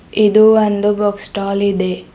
ಇದು ಒಂದು book stall ಇದೆ.